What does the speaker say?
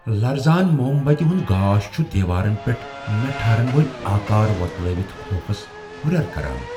لرزان موم بتہِ ہُند گاش چُھ دیوارن پیٹھ نہ ٹھہرن وٲلۍ آکار وۄتلٲوتھ خوفس ہُریر کران۔